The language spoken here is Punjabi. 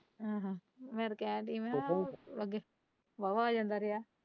ਹਮ ਫ਼ੇਰ ਕਹਿਣ ਡਇ ਹਾਂ।